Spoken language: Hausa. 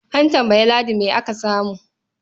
A tambayi Ladi me aka samu.